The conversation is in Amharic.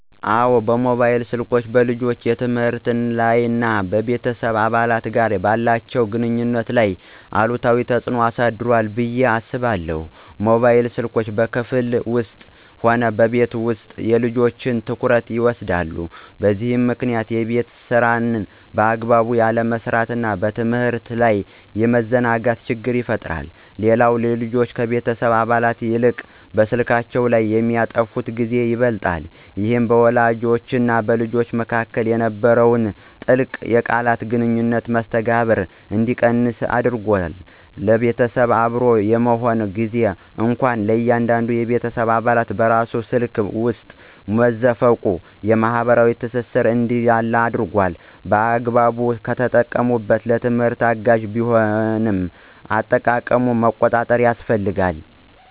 አዎን፣ ሞባይል ስልኮች በልጆች የትምህርት ላይ እና ከቤተሰብ አባላት ጋር ባላቸው ግንኙነት ላይ አሉታዊ ተጽዕኖ አሳድሯል ብዬ አስባለሁ። ሞባይል ስልኮች በክፍል ውስጥም ሆነ በቤት ውስጥ የልጆችን ትኩረት ይወስዳሉ፤ በዚህም ምክንያት የቤት ሥራን በአግባቡ ያለመስራትና በትምህርት ላይ የመዘናጋት ችግር ይፈጠራል። ሌላው ልጆች ከቤተሰብ አባላት ይልቅ በስልካቸው ላይ የሚያጠፉት ጊዜ ይበልጣል። ይህ በወላጆችና በልጆች መካከል የነበረውን ጥልቅ የቃል ግንኙነትና መስተጋብር እንዲቀንስ አድርጓል። ቤተሰብ አብሮ በሚሆንበት ጊዜም እንኳ እያንዳንዱ የቤተሰብ አባል በራሱ ስልክ ውስጥ መዘፈቁ የማኅበራዊ ትስስር እንዲላላ አድርጓል። በአግባቡ ከተጠቀሙበት ለትምህርት አጋዥ ቢሆንም፣ አጠቃቀሙን መቆጣጠር ያስፈልጋል።